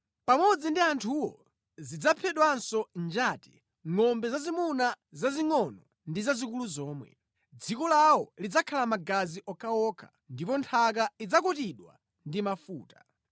Pamodzi ndi anthuwo zidzaphedwanso njati, ngʼombe zazimuna zazingʼono ndi zazikulu zomwe. Dziko lawo lidzakhala magazi okhaokha, ndipo nthaka idzakutidwa ndi mafuta.